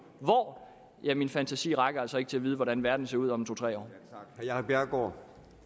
hvor ja min fantasi rækker altså ikke til at vide hvordan verden ser ud om to tre år